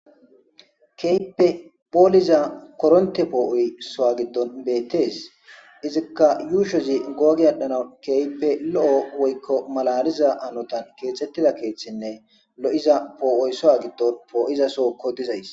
Keehippe poliza koronththe po'oy Sohowa giddon bettes. Izikka ushshozi go'a gi adhdhanaw keehippe lo'o woyko maalaliza hanotan kexxettida keeththinne lo'iza po'otssuwa giddon po'iza sohon poddizayssa.